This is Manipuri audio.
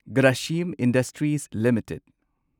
Grasim Industries limited